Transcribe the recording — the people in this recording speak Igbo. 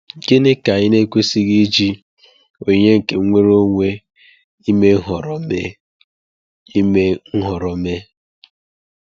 Gịnị ka anyị na-ekwesịghị iji onyinye nke nnwere onwe ime nhọrọ mee? ime nhọrọ mee?